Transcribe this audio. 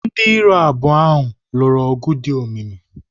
Ndị iro abụọ ha lụrụ ọgụ dị omimi.